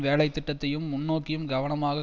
வேலைத்திட்டத்தையும் முன்நோக்கையும் கவனமாக